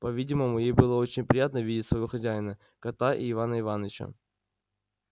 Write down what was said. по-видимому ей было очень приятно видеть своего хозяина кота и ивана ивановича